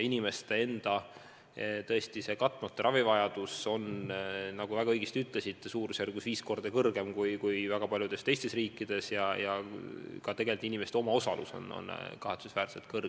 Inimeste katmata ravivajadus on, nagu te väga õigesti ütlesite, suurusjärgus viis korda suurem kui väga paljudes teistes riikides, ja tegelikult ka inimeste omaosalus on kahetsusväärselt suur.